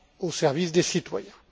au service des citoyens.